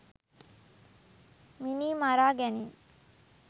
මිනී මරා ගැනීම්